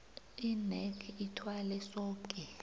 inac ithwale soke